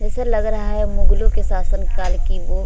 जैसे लग रहा है मुगलों के शासन काल की वो --